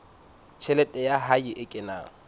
tjhelete ya hae e kenang